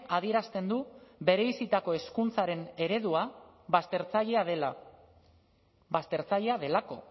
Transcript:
adierazten du bereizitako hezkuntzaren eredua baztertzailea dela baztertzailea delako